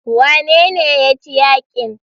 Wanene ya ci yakin?